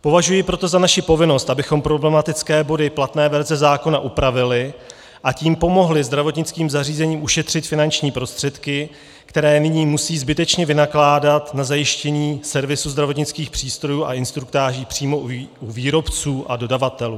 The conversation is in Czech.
Považuji proto za naši povinnost, abychom problematické body platné verze zákona upravili, a tím pomohli zdravotnickým zařízením ušetřit finanční prostředky, které nyní musí zbytečně vynakládat na zajištění servisu zdravotnických přístrojů a instruktáží přímo u výrobců a dodavatelů.